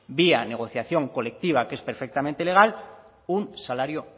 vía negociación colectiva que es perfectamente legal un salario